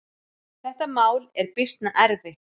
Þetta mál er býsna erfitt.